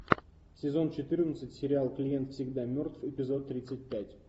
сезон четырнадцать сериал клиент всегда мертв эпизод тридцать пять